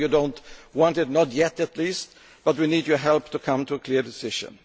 Tax. I know you do not want it, not yet at least, but we need your help to come to a clear decision.